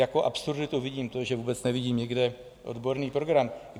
Jako absurditu vidím to, že vůbec nevidím nikde odborný program.